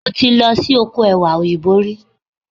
Mo ti lọ sí oko Ẹ̀wà Òyìnbó rí.